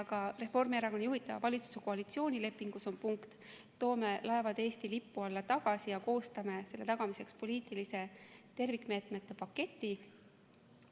Ka Reformierakonna juhitava valitsuse koalitsioonilepingus on punkt, et toome laevad Eesti lipu alla tagasi ja koostame selle tagamiseks poliitilise tervikmeetmete paketi.